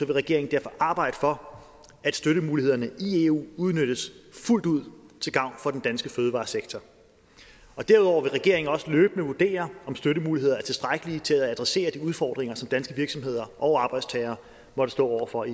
regeringen derfor arbejde for at støttemulighederne i eu udnyttes fuldt ud til gavn for den danske fødevaresektor derudover vil regeringen også løbende vurdere om støttemulighederne er tilstrækkelige til at adressere de udfordringer som danske virksomheder og arbejdstagere måtte stå over for